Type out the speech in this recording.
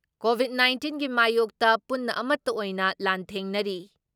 Covid ꯅꯥꯏꯟꯇꯤꯟꯒꯤ ꯃꯥꯌꯣꯛꯇ ꯄꯨꯟꯅ ꯑꯃꯠꯇ ꯑꯣꯏꯅ ꯂꯥꯟꯊꯦꯡꯅꯔꯤ ꯫